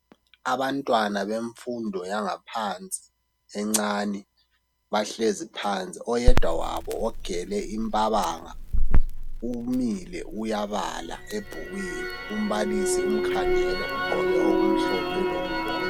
abantwana bemfundo yangaphansi encane bahlezi phansi oyedwa wabo ogele imbabanga umile uyabala ebhukwini umbalisi umkhangele ugqoke okumhlophe lokubomvu